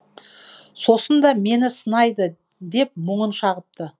сосын да мені сынайды деп мұңын шағыпты